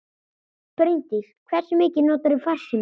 Bryndís: Hversu mikið notarðu farsíma?